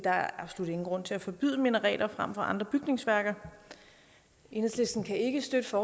er absolut ingen grund til at forbyde minareter frem for andre bygningsværker enhedslisten kan ikke støtte